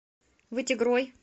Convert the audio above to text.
вытегрой